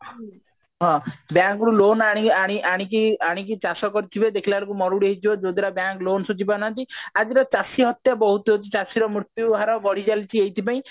ହଁ loan ଆଣି ଆଣି ଆଣିକି ଆଣିକି ଚାଷ କରିଥିବେ ଦେଖିଲ ବେଳକୁ ହେଇଯିବ ଯୋଉ ଦ୍ଵାରା bank loan ସୁଝି ପାରୁ ନାହାନ୍ତି ଆଜିର ଚାଷୀ ହତ୍ୟା ବହୁତ ହଉଛି ଚାଷୀର ମୃତ୍ୟୁ ହାର ବଢି ଚାଲିଛି ଏଇଥି ପାଇଁ